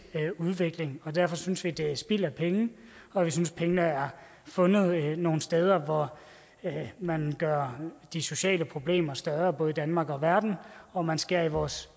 udvikling og derfor synes vi at det er spild af penge og vi synes at pengene er fundet nogle steder hvor man gør de sociale problemer større både i danmark og verden og man skærer i vores